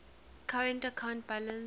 current account balance